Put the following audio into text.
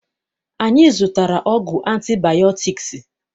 Anyị zụtara ọgwụ antibayọtiks